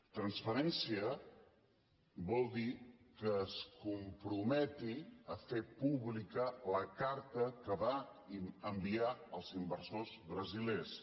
transparència vol dir que es comprometi a fer pública la carta que va enviar als inversors brasilers